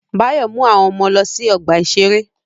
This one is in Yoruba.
Báyọ̀ mú àwọn ọmọ lọ sí ọgbà-ìṣeré